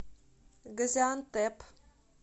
газиантеп